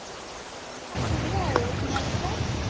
আছো দিয়া আৰু তোমালোকৰ?